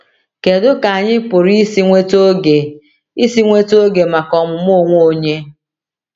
Kedu ka anyị pụrụ isi nweta oge isi nweta oge maka ọmụmụ onwe onye?